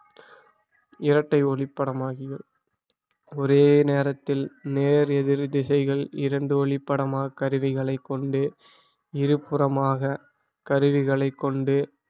இரட்டை ஒளிப்படமாகிய ஒரே நேரத்தில் நேர் எதிர் திசைகள் இரண்டு ஒளி படமாக் கருவிகளை கொண்டு இரு புறமாக கருவிகளைக் கொண்டு